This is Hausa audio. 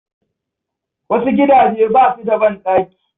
Wasu gidaje ba su da banɗaki.